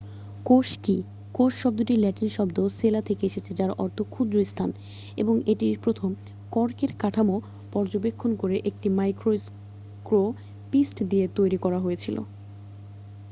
"কোষ কী? কোষ শব্দটি ল্যাটিন শব্দ "সেলা" থেকে এসেছে যার অর্থ "ক্ষুদ্র স্থান" এবং এটি প্রথম কর্কের কাঠামো পর্যবেক্ষণ করে একটি মাইক্রোস্কোপিস্ট দিয়ে তৈরি করা হয়েছিল।